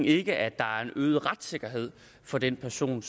ikke at der er en øget retssikkerhed for den person